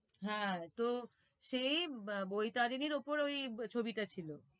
হ্যাঁ তো সেই আহ বৈতারিনীর ওপর ওই ছবিটা ছিল।